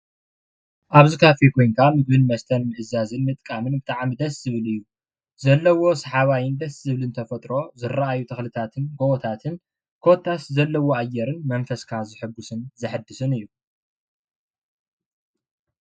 ኣብ እዚ ካፊ ኮይንካ ምግብን መስተን ምእዛዝን ምጥቃምን ብጣዕሚ ደስ ዝበል እዩ። ዘለዎ ሰሓባይ ደስ ዝብል ተፈጥሮ እረኣዩ ተክልታትን ጎቦታትን ኮታስ ዘለዎ ኣየር መንፈስካ ዘሕጉሰን ዘሕድስን እዩ።